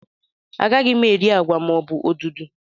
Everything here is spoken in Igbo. Anaghị m eri agwa maọbụ odudu